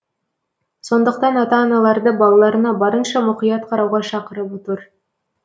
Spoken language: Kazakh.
сондықтан ата аналарды балаларына барынша мұқият қарауға шақырып отыр